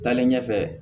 Taalen ɲɛfɛ